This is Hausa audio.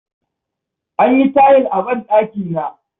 An yi tayil a banɗakina.